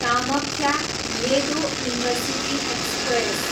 Kamakhya, Ledo intercity express